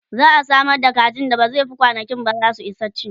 za'a Samar da kaji da ba zai Fi kwanankinba zasu Isa ci